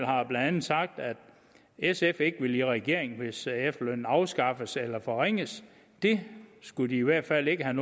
har blandt andet sagt at sf ikke ville i regering hvis efterlønnen blev afskaffet eller forringet det skulle de i hvert fald ikke have